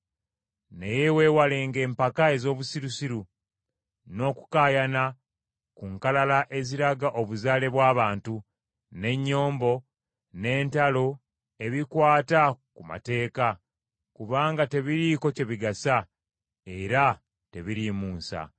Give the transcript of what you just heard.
Naye weewalenga empaka ez’obusirusiru, n’okukaayana ku nkalala eziraga obuzaale bw’abantu, n’ennyombo, n’entalo ebikwata ku mateeka; kubanga tebiriiko kye bigasa era tebiriimu nsa.